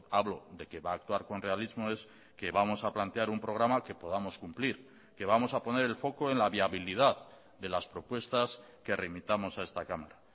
hablo de que va a actuar con realismo es que vamos a plantear un programa que podamos cumplir que vamos a poner el foco en la viabilidad de las propuestas que remitamos a esta cámara